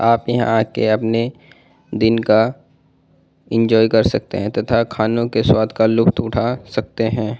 आप यहाँ आ के अपने दिन का एन्जॉय कर सकते है तथा खानों के स्वाद का लुप्त उठा सकते है ।